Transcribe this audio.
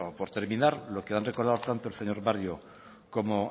por terminar lo que han recordado tanto el señor barrio como